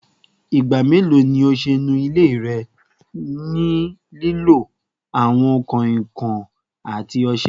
Igba melo ni o ṣe nu ile rẹ ni lilo awọn kanrinkan ati ọṣẹ?